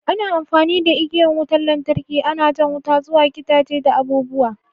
Ana amfani da igiyan wutan lantarki ana jan wuta zuwa gidaje da abu'buwa.